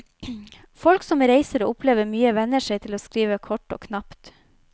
Folk som reiser og opplever mye, venner seg til å skrive kort og knapt.